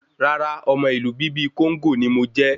Rárá, ọmọ Ìlú bíbí kóńgó ní mo jẹ